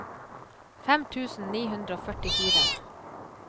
fem tusen ni hundre og førtifire